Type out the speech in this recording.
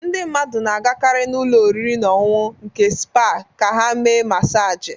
Ndị mmadụ na-agakarị n'ụlọ oriri na ọṅụṅụ nke spa ka ha mee masaji